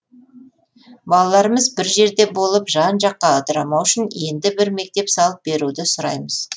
балаларымыз бір жерде болып жан жаққа ыдырамау үшін енді бір мектеп салып беруді сұраймыз